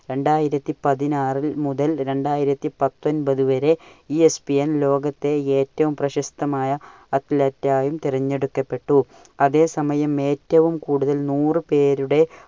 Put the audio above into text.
രണ്ടായിരത്തി പതിനാറിൽ മുതൽ രണ്ടായിരത്തി പത്തൊമ്പതു വരെ ESPN ലോകത്തെ ഏറ്റവും പ്രശസ്തമായ അത്‌ലറ്റായും തിരഞ്ഞെടുക്കപ്പെട്ടു. അതേസമയം ഏറ്റവും കൂടുതൽ നൂറു പേരുടെ